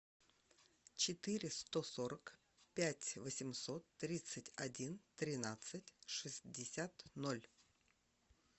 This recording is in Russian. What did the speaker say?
четыре сто сорок пять восемьсот тридцать один тринадцать шестьдесят ноль